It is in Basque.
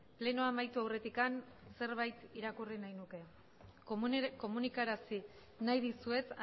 plenoa amaitu aurretik zerbait irakurri nahi nuke komunikarazi nahi dizuet